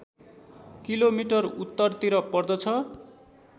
kilometre उत्तरतिर पर्दछ